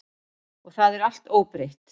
Og það er allt óbreytt.